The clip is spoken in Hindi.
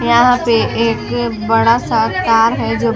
यहाँ पे एक बड़ा- सा तार है जो --